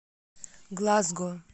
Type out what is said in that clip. глазго